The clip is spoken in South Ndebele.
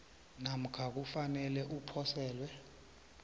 namkha kufanele uposelwe